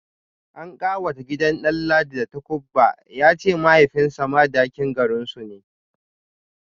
An kawata gidan Danladi da takubba, ya ce mahaifinsa Madakin garinsu ne